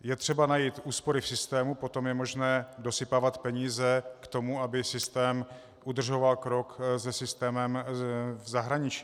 Je třeba najít úspory v systému, potom je možné dosypávat peníze k tomu, aby systém udržoval krok se systémem v zahraničí.